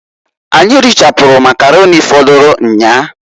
Anyị richapụrụ Makaroni fọdụlụ nnyaa.